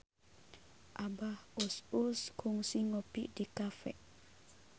Abah Us Us kungsi ngopi di cafe